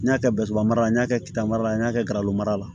N y'a kɛ mara ye n y'a kɛ k'itaga la n y'a kɛ garalo mara la